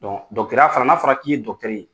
Don dɔgɔtɔrɔya fana n'a fɔra k'i ye dɔgɔtɔrɔ ye